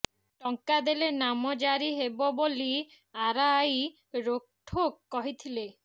ଟଙ୍କା ଦେଲେ ନାମଜାରୀ ହେବ ବୋଲି ଆର ଆଇ ରୋକଠୋକ କହିଥିଲେ